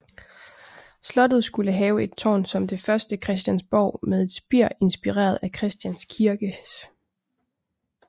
Slottet skulle have et tårn som det første Christiansborg med et spir inspireret af Christians Kirkes